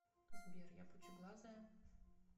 сбер я пучеглазая